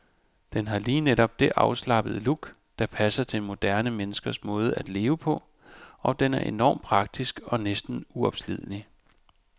Den har lige netop det afslappede look, der passer til moderne menneskers måde at leve på, og den er enormt praktisk og næsten uopslidelig.